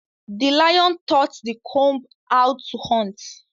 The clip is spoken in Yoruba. The lion taught the comb how to hunt